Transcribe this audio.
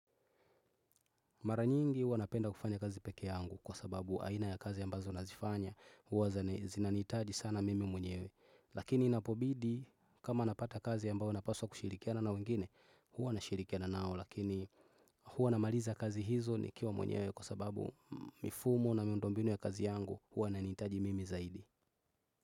Maranyingi hua napenda kufanya kazi pekee yangu kwa sababu aina ya kazi ambazo nazifanya huwa zina zinanitaji sana mimi mwenyewe. Lakini napobidi kama napata kazi ambao napaswa kushirikiana na wengine hua nashirikiana nao lakini hua namaliza kazi hizo nikiwa mwenyewe kwa sababu mifumo na miundo mbinu ya kazi yangu hua nanitaji mimi zaidi.